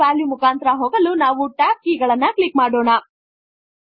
ಪ್ರತಿಯೊಂದು ವ್ಯಾಲ್ಯು ಮುಖಾಂತರ ಹೋಗಲು ನಾವು ಟ್ಯಾಬ್ ಕೀ ಗಳನ್ನು ಕ್ಲಿಕ್ ಮಾಡೋಣ